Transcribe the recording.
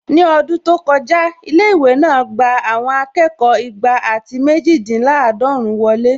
Ní ọdún tó kọjá, ilé-ìwé náà gbà àwọn akẹ́kọ̀ọ́ igba àti méjìdínláàdọ́run wọlé